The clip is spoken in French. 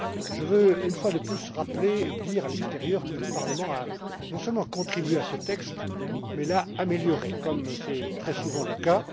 Je veux, une fois de plus, rappeler et dire à l'extérieur que le Parlement a non seulement contribué à ce texte mais l'a amélioré, comme c'est très souvent le cas.